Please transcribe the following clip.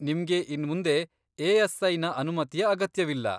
ನಿಮ್ಗೆ ಇನ್ಮುಂದೆ ಎ.ಎಸ್.ಐ.ನ ಅನುಮತಿಯ ಅಗತ್ಯವಿಲ್ಲ.